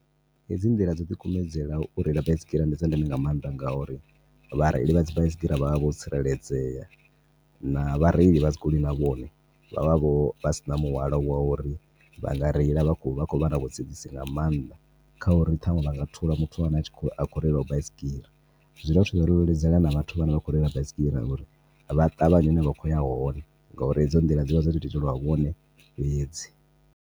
Hedzi nḓila dzo ḓikumedzele u reila baisigira ndi dza ndeme nga maanḓa nga uri vha reila vha dzi baisigira vha vha vho tsireledzea na vhareila vha dzi goloi na vhone vha vha vho vhasina muhwalo wa uri vhanga reila vha kho vha na vhusedzisi nga maanḓa khauri ṱhaṅwe vhanga thula muthu ane a tshikho reila baisigira. Zwi dovha futhi zwa ri leludzela na vhathu vhane vha kho reila baisigira uri vha ṱavhanye hune vha khoya hone ngori hedzo nḓila dzi vha dzo to itelwa vhone fhedzi.